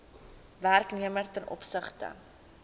werknemer ten opsigte